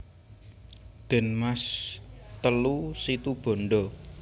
De Maas telu Situbondo